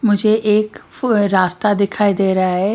मुझे एक रास्ता दिखाई दे रहा है।